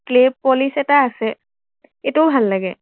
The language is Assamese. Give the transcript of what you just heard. clay polish এটা আছে, এইটোও ভাল লাগে।